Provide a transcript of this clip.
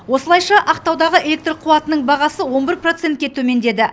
осылайша ақтаудағы электр қуатының бағасы он бір процентке төмендеді